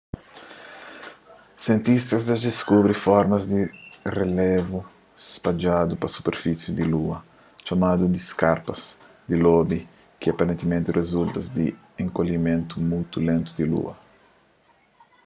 sientistas dja diskubri formas di relevu spadjadu pa superfisi di lua txomadu di skarpas di lobu ki aparentimenti rizulta di enkolhimentu mutu lentu di lua